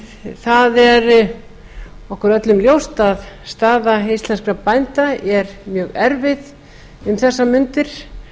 það er okkur öllum ljóst að staða íslenskra bænda er mjög erfið um þessar mundir